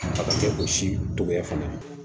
togoya fana na